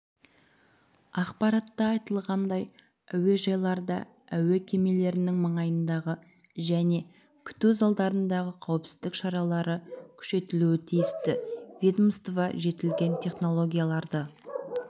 ақпаратта айтылғандай әукежайларда әуе кемелерінің маңайындағы және күту залдарындағы қауіпсіздік шаралары күшейтілуі тиісті ведомство жетілген технологияларды